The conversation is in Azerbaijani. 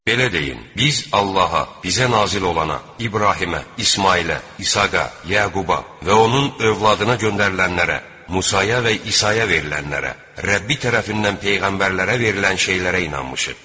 Belə deyin: Biz Allaha, bizə nazil olana, İbrahimə, İsmayılə, İshaqa, Yaquba və onun övladına göndərilənlərə, Musaya və İsaya verilənlərə, Rəbbi tərəfindən peyğəmbərlərə verilən şeylərə inanmışıq.